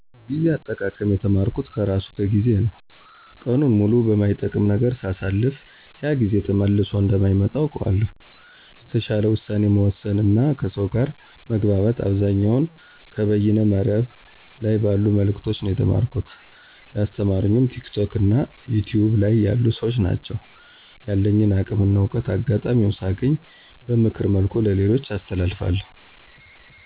ጊዜ አጠቃቀም የተማርኩት ከራሱ ከ ጊዜ ነው። ቀኑን ሙሉ በማይጠቅም ነገር ሳሳልፍ ያ ጊዜ ተመልሶ እንደማይመጣ አውቀዋለሁ። የተሻለ ውሳኔ መወሰን እና ከሰው ጋር መግባባት አብዛኛውን ከበይነ መረብ ላይ ባሉ መልዕክቶች ነው የተማርኩት። ያስተማሩኝም ቲክቶክ እና ዩቱይብ ላይ ያሉ ሰዎች ናቸው። ያለኝን አቅም እና እውቀት አጋጣሚውን ሳገኝ በምክር መልኩ ለሌሎች አስተላልፋለሁ።